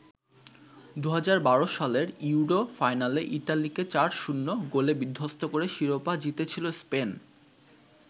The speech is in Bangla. ২০১২ সালের ইউরো ফাইনালে ইতালিকে ৪-০ গোলে বিধ্বস্ত করে শিরোপা জিতেছিল স্পেন।